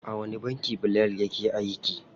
A wani banki Bilal yake aiki?